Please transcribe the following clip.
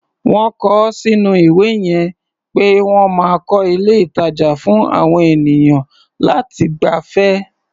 Wọ́n kọ ọ́ sínú ìwé yẹn pé wọ́n máa ń kọ́ ilé-ìtàjà fún àwọn ènìyàn láti gbafẹ́.